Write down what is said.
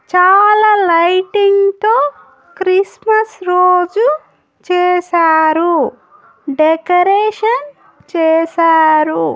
చాలా లైటింగ్ తో క్రిస్మస్ రోజు చేసారు డెకరేషన్ చేసారు.